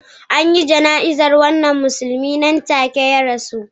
An yi jana'izar wannan musulmi nan take ya rasu